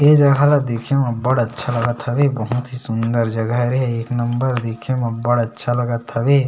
ए जगह ल देखे म अब्बड़ अच्छा लगत हवे बहुत ही सूंदर जगह हरे एक नंबर दिखे म अब्बड़ अच्छा लगत हवे।